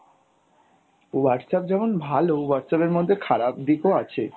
Whatsapp যেমন ভালো Whatsapp এর মধ্যে খারাপ দিক ও আছে।